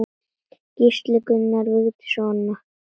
Gísli, Gunnar, Vigdís og Anna.